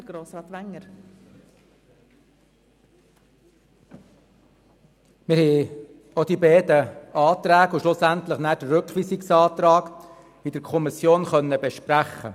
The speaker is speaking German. der SiK. Wir konnten die beiden Anträge und auch den Rückweisungsantrag in der Kommission besprechen.